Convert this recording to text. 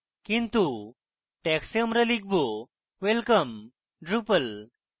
কিন্তু tags we আমরা লিখব welcome drupal